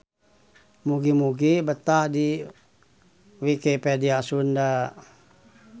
Mugi-mugi betah di Wikipedia Sunda.